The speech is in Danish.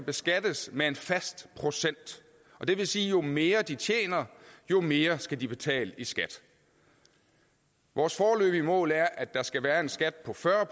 beskattes med en fast procent og det vil sige at jo mere de tjener jo mere skal de betale i skat vores foreløbige mål er at der skal være en skat på fyrre